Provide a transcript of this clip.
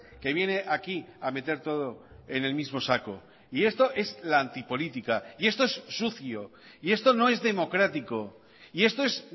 que viene aquí a meter todo en el mismo saco y esto es la antipolítica y esto es sucio y esto no es democrático y esto es